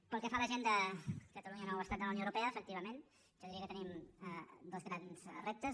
pel que fa a l’agenda catalunya nou estat de la unió europea efectivament jo diria que tenim dos grans reptes